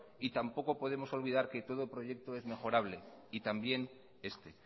y tampoco podemos olvidar que todo proyecto es mejorable y también este